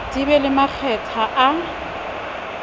di be le makgetha a